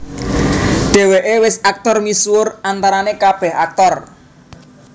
Dheweke wis aktor misuwur antarane kabeh aktor